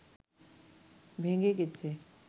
ভেঙে গেছে